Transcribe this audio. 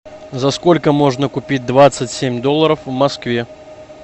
за сколько можно купить двадцать семь долларов в москве